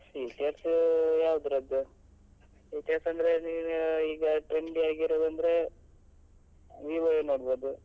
Features ಯಾವ್ದ್ರದ್ದು features ಅಂದ್ರೆ ನೀನ್ ಈಗ trendy ಯಾಗಿ ಇರುದಂದ್ರೆ Vivo ಯೇ ನೋಡ್ಬಹುದು